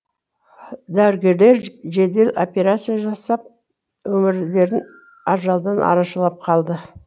дәрігерлер жедел операция жасап өмірлерін ажалдан арашалап қалды